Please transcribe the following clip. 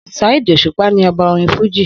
Saheed Òṣùpá ní ọba orin fújì